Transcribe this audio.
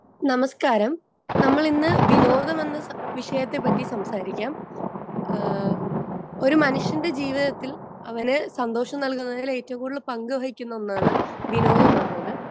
Speaker 2 നമസ്കാരം. നമ്മൾ ഇന്ന് വിനോദം എന്ന വിഷയത്തെപ്പറ്റി സംസാരിക്കാം. ആഹ് ഒരു മനുഷ്യന്റെ ജീവിതത്തിൽ അവന് സന്തോഷം നൽകുന്നതിൽ ഏറ്റവും കൂടുതൽ പങ്കുവഹിക്കുന്ന ഒന്നാണ് വിനോദം എന്നത്.